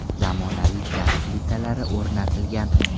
Zamonaviy gaz plitalari o‘rnatilgan.